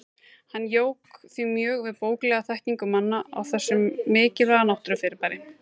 Hann jók því mjög við bóklega þekkingu manna á þessu mikilvæga náttúrufyrirbæri.